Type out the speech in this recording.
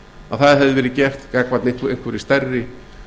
að það hefði verið gert gagnvart einhverri stærri